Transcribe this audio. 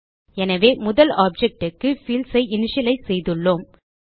எனவே முதல் ஆப்ஜெக்ட் க்கு பீல்ட்ஸ் ஐ இனிஷியலைஸ் செய்துள்ளோம்